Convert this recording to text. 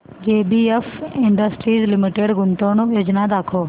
JBF industries limited गुंतवणूक योजना दाखव